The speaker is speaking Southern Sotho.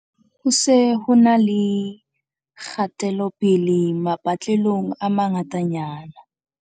Ho se ho e na le kgatelopele mapatlelong a mangata nyana.